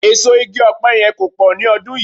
Èso igi ọ̀pẹ yẹn kò pọ̀ ni ọdún yìí